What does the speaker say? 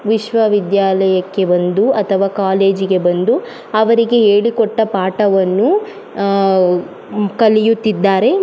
ವಿಶ್ವ ವಿದ್ಯಾಲಯಕ್ಕೆ ಬಂದು ಅಥವಾ ಕಾಲೇಜಿಗೆ ಬಂದು ಅವರಿಗೆ ಹೇಳಿ ಕೊಟ್ಟ ಪಾಠವನ್ನು ಅ ಕಲಿಯುತ್ತಿದ್ದಾರೆ ಮ--